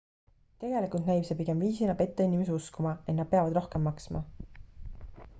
tegelikult näib see pigem viisina petta inimesi uskuma et nad peavad rohkem maksma